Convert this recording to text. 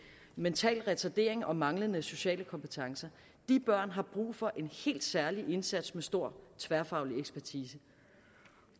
mental retardering og manglende sociale kompetencer de børn har brug for en helt særlig indsats med stor tværfaglig ekspertise